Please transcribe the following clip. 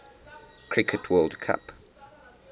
cricket world cup